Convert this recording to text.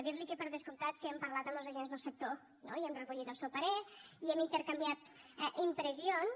dir li que per descomptat que hem parlat amb els agents del sector no i hem recollit el seu parer i hem intercanviat impressions